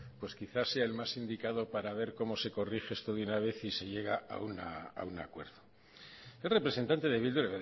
pues quizás sea el más indicado para ver cómo se corrige esto de una vez y se llega a un acuerdo el representante de bildu